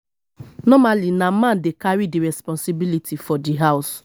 normally na man dey carry di responsibility for di house